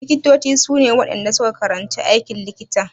Likitoci su ne waɗanda su ka karanci aikin likita.